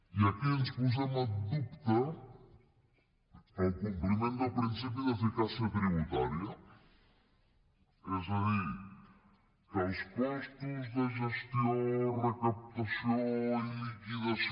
i aquí posem en dubte el compliment del principi d’eficàcia tributària és a dir que els costos de gestió recaptació i liquidació